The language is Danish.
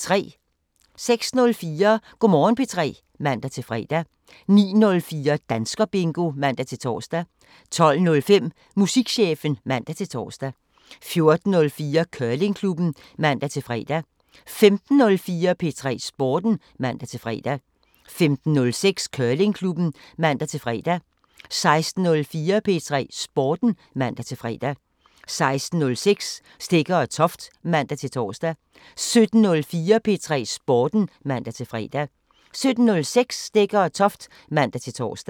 06:04: Go' Morgen P3 (man-fre) 09:04: Danskerbingo (man-tor) 12:05: Musikchefen (man-tor) 14:04: Curlingklubben (man-fre) 15:04: P3 Sporten (man-fre) 15:06: Curlingklubben (man-fre) 16:04: P3 Sporten (man-fre) 16:06: Stegger & Toft (man-tor) 17:04: P3 Sporten (man-fre) 17:06: Stegger & Toft (man-tor)